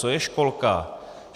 Co je školka?